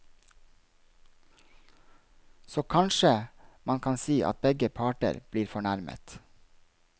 Så kanskje man kan si at begge parter blir fornærmet.